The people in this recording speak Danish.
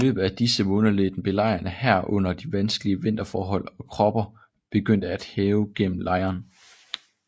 I løbet af disse måneder led den belejrende hær under de vanskelige vinterforhold og kopper begyndte at hærge gennem lejren